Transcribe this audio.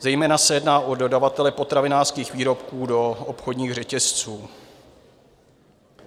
Zejména se jedná o dodavatele potravinářských výrobků do obchodních řetězců.